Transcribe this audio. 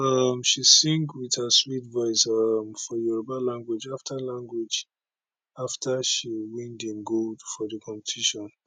um she sing wit her sweet voice um for yoruba language afta language afta she win di gold for di competition